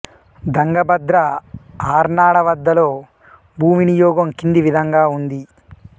దంగబద్ర ఆర్నాడ వద్దలో భూ వినియోగం కింది విధంగా ఉంది